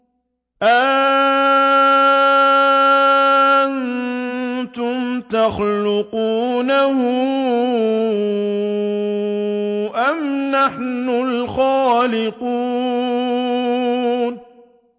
أَأَنتُمْ تَخْلُقُونَهُ أَمْ نَحْنُ الْخَالِقُونَ